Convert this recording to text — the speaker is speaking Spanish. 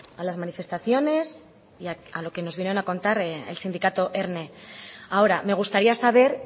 a las manifestaciones y a lo que nos viene a contar el sindicato erne ahora me gustaría saber